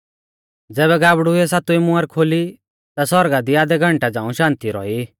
ज़ैबै गाबड़ुऐ सातवी मुहर खोली ता सौरगा दी आधै घंटै झ़ांऊ शान्ति रौई